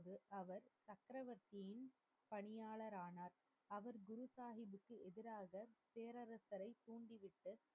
அவர் சக்கரவர்த்தியின் பணியாளரானார். அவர் குரு சாஹிப்புக்கு எதிராக பேரரசரை தூண்டிவிட்டு,